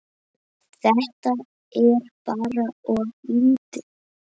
Þetta er bara of lítið.